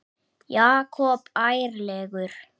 Jakob ærlegur